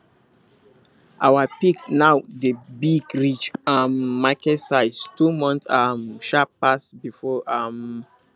our pig now dey big reach um market size two month um sharp pass before um